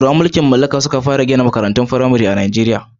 Turawan mulkin mallaka su suka fara gina makarantun fimare a Najeriya.